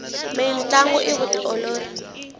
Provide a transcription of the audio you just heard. mintlangu i vutiolori